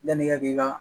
Yanni i ka k'i ka